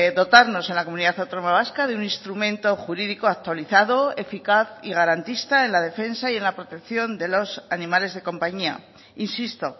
dotarnos en la comunidad autónoma vasca de un instrumento jurídico actualizado eficaz y garantista en la defensa y en la protección de los animales de compañía insisto